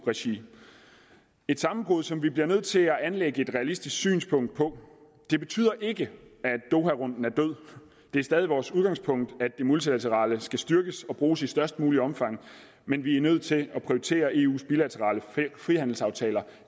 regi et sammenbrud som vi bliver nødt til at anlægge et realistisk synspunkt på det betyder ikke at doharunden er død det er stadig vores udgangspunkt at det multilaterale skal styrkes og bruges i størst muligt omfang men vi er nødt til at prioritere eu’s bilaterale frihandelsaftaler